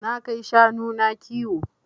Na kai shanu na kiwo.